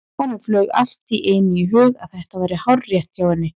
Honum flaug allt í einu í hug að þetta væri hárrétt hjá henni.